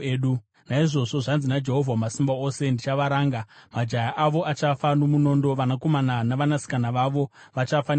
naizvozvo zvanzi naJehovha Wamasimba Ose, ‘Ndichavaranga. Majaya avo achafa nomunondo, vanakomana navanasikana vavo vachafa nenzara.